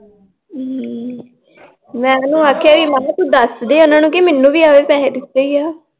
ਹਮ ਮੈਂ ਉਨੂੰ ਆਖਿਆ ਮੈਂ ਕਿਹਾ ਤੂੰ ਦਸਦੇ ਉਹਨਾਂ ਨੂੰ ਕੀ ਮੈਨੂੰ ਵੀ ਪੈਸੇ ਦਿਤੇ ਈ ਆ l